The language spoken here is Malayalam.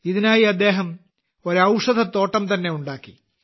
ഇതിനായി അദ്ദേഹം ഒരു ഔഷധത്തോട്ടം തന്നെ ഉണ്ടാക്കി